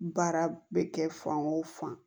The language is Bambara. Baara bɛ kɛ fan o fan